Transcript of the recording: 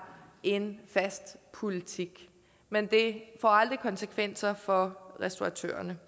en fast politik men det får aldrig konsekvenser for restauratørerne